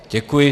Děkuji.